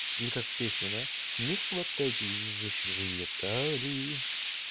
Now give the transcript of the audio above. или как в песне да не хватайтесь за чужие талии